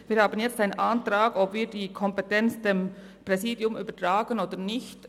Wir haben jetzt den Antrag gestellt erhalten, ob wir die Kompetenz dem Präsidium übertragen oder nicht.